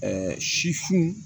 si fun